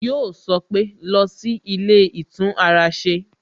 Yọ sọ pé "lọ sí ilé ìtún ara ṣe"